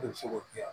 O de bɛ se k'o kɛ